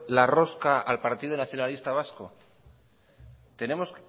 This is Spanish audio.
la rosca al partido nacionalista vasco tenemos